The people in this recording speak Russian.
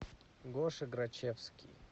гоша грачевский